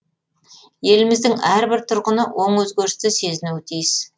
еліміздің әрбір тұрғыны оң өзгерісті сезінуі тиіс